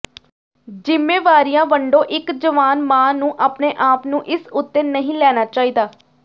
ਜ਼ਿੰਮੇਵਾਰੀਆਂ ਵੰਡੋ ਇੱਕ ਜਵਾਨ ਮਾਂ ਨੂੰ ਆਪਣੇ ਆਪ ਨੂੰ ਇਸ ਉੱਤੇ ਨਹੀਂ ਲੈਣਾ ਚਾਹੀਦਾ